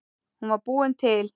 Hún var búin til.